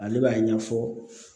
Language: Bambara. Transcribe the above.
Ale b'a ɲɛfɔ